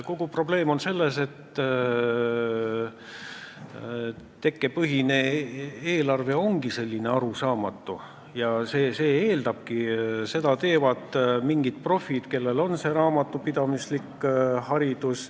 Kogu probleem on selles, et tekkepõhine eelarve ongi arusaamatu ja seda teevad mingid profid, kellel on raamatupidamislik haridus.